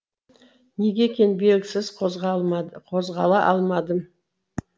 неге екені белгісіз қозғала алмадым